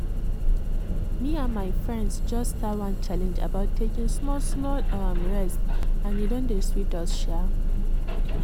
me and my friends just start one challenge about taking small-small um rest and e don dey sweet us. um